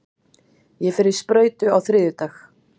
Ég fer í sprautu á þriðjudag.